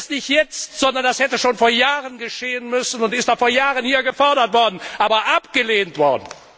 Nicht erst jetzt, sondern das hätte schon vor Jahren geschehen müssen und ist auch vor Jahren hier gefordert, aber abgelehnt worden.